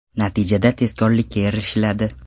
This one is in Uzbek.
Natijada tezkorlikka erishiladi.